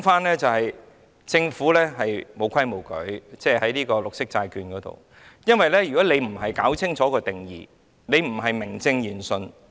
我要說的是政府在發行綠色債券上沒有規矩，因為如果不清楚界定定義，就不是名正言順。